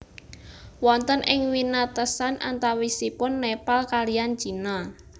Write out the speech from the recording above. Wonten ing winatesan antawisipun Nepal kaliyan Cina